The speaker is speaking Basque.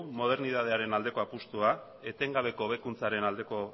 modernitatearen aldeko apustua etengabeko hobekuntzaren aldeko